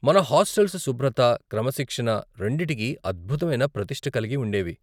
మన హాస్టల్స్ శుభ్రత, క్రమశిక్షణ రెండిటికీ అద్భుతమైన ప్రతిష్ఠ కలిగి ఉండేవి.